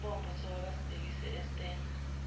amabombo sebewabhekise estanger